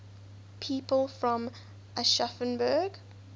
people from aschaffenburg